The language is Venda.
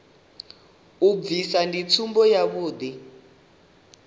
vha bvisa ndi tsumbo yavhuḓi